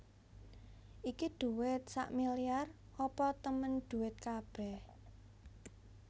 Iki dhuwit sakmiliar apa temen dhuwit kabeh